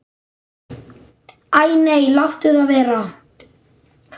Æ nei, láttu það vera.